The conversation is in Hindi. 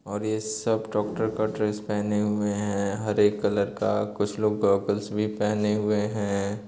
और ये सब डॉक्टर का ड्रेस पेहने हुए हैं हरे कलर का कुछ लोग गॉगल्स भी पेहने हुए हैं।